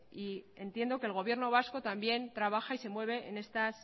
y entiendo que el gobierno vasco también trabaja y se mueve en estas